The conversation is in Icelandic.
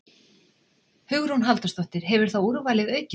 Hugrún Halldórsdóttir: Hefur þá úrvalið aukist?